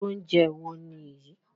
Irú oúnjẹ ilé wo nìyí?